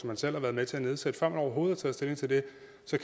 man selv har været med til at nedsætte før man overhovedet har taget stilling til det